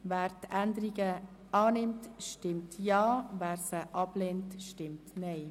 Wer die Änderungen annimmt, stimmt Ja, wer diese ablehnt, stimmt Nein.